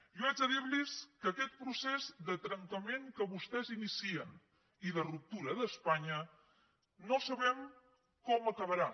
jo he de dir los que aquest procés de trencament que vostès inicien i de ruptura d’espanya no sabem com acabarà